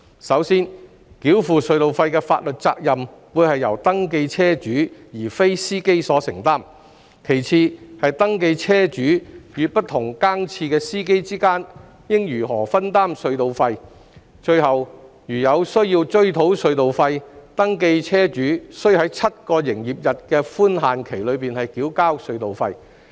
首先，繳付隧道費的法律責任會是由登記車主而非司機所承擔；其次，是登記車主與不同更次司機之間應如何分擔隧道費；最後，如有需要追討隧道費，登記車主須在7個營業日的寬限期內繳付隧道費。